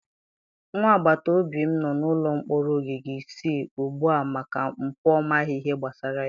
Nwa agbataobi m nọ n'ụlọ mkpọrọ ogige isii ugbu a maka mpụ ọ maghị ihe gbasara ya.